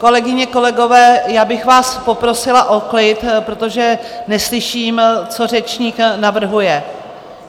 Kolegyně, kolegové, já bych vás poprosila o klid, protože neslyším, co řečník navrhuje.